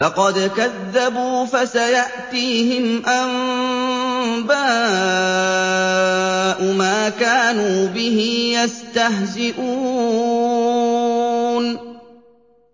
فَقَدْ كَذَّبُوا فَسَيَأْتِيهِمْ أَنبَاءُ مَا كَانُوا بِهِ يَسْتَهْزِئُونَ